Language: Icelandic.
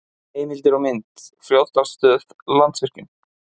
Heimildir og mynd: Fljótsdalsstöð- Landsvirkjun.